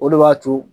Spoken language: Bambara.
O de b'a to